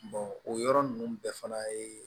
o yɔrɔ ninnu bɛɛ fana ye